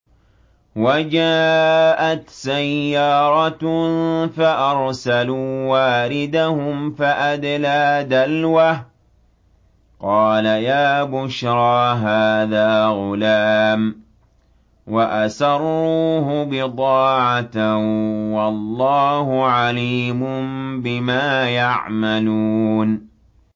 وَجَاءَتْ سَيَّارَةٌ فَأَرْسَلُوا وَارِدَهُمْ فَأَدْلَىٰ دَلْوَهُ ۖ قَالَ يَا بُشْرَىٰ هَٰذَا غُلَامٌ ۚ وَأَسَرُّوهُ بِضَاعَةً ۚ وَاللَّهُ عَلِيمٌ بِمَا يَعْمَلُونَ